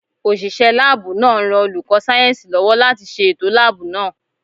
Òṣìṣẹ́ láàbù náà ń ran olùkọ́ sáyẹ̀nsì lọ́wọ́ láti ṣe ètò láàbù náà